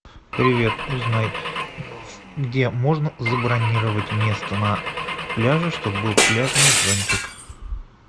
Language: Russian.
привет узнай где можно забронировать место на пляже чтобы был пляжный зонтик